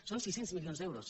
són sis cents milions d’euros